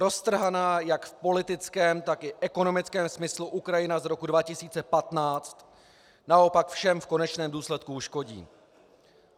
Roztrhaná jak v politickém, tak i ekonomickém smyslu Ukrajina z roku 2015 naopak všem v konečném důsledku uškodí.